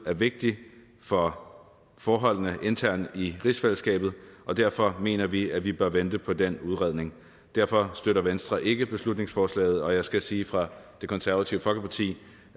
er vigtig for forholdene internt i rigsfællesskabet og derfor mener vi at vi bør vente på den udredning derfor støtter venstre ikke beslutningsforslaget og jeg skal sige fra det konservative folkeparti